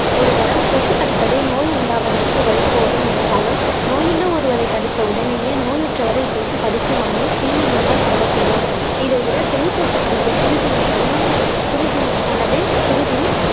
ஒரு தரம் கொசு கடிப்பதே நோய் உண்டாவதற்கு வழிகோலும் என்றாலும் நோயுள்ள ஒருவரை கடித்த உடனேயே நோயற்றவரை இக்கொசு கடிக்குமாயின் தீ நுண்மங்கள் பரவக்கூடும் இதைவிட பெண் கொசு தனது குருதியை உணவு குருதியில் தனது குருதி